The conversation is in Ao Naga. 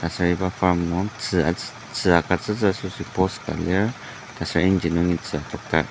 aser iba farm nung tzü agutsütsü asoshi post ka lir aser yangji nungi tzü adokdar.